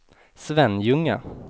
Svenljunga